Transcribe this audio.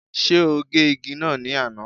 Ṣé ó gé igi náà ní àná?